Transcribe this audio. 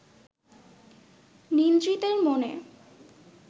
নিদ্রিতের মনে